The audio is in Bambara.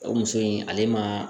O muso in ale ma